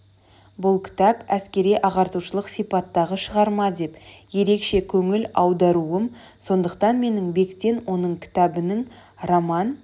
бұл кітап әскери-ағартушылық сипаттағы шығарма деп ерекше көңіл аударуым сондықтан менің бектен оның кітабының роман